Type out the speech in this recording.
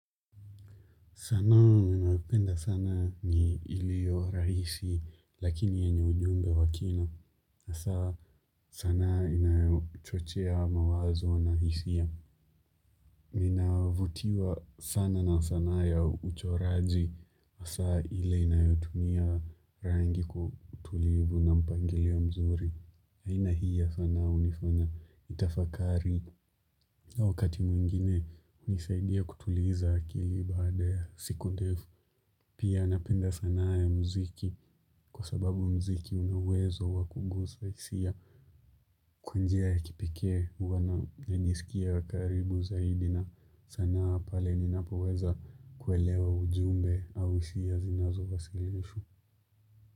Sanaa ninayopenda sana ni ilio rahisi, lakini yenye ujumbe wakina. Asa sanaa inayochochea mawazo na hisia. Ninavutiwa sana na sanaa ya uchoraji. Asa ile inayotumia rangi kwa utulivu na mpangilio mzuri. Aina hii ya sanaa unifanya nitafakari. Wakati mwingine unisaidia kutuliza akili baada ya siku ndefu. Pia napenda sanaa ya mziki kwa sababu mziki unauwezo wa kugusa hisia kwa njia ya kipekee huana liniskia wa karibu zaidi na sanaa pale ninapoweza kuelewa ujumbe au hisia zinazowasilishwa.